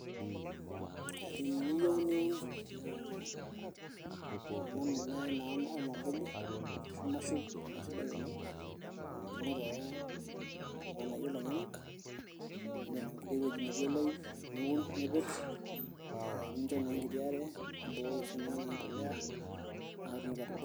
teniyieu niun ena mimeai naa ormambuli ashu mushroom naa isidai oleng ing'oru ake ilng'anayio lenyenak nirem enkiti wueji netii oloip niun nipik nicho naa enkiti are nibukoki sininye naa embolea naa ketumoki atubulu.